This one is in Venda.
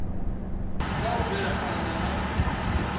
kha u bvela phanda na